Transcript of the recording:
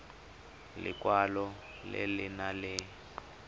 lekwalo le le nang le